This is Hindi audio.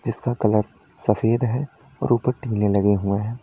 जिसका कलर सफेद है और ऊपर टीने लगे हुए हैं।